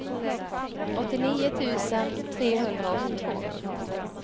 åttionio tusen trehundraåttiotvå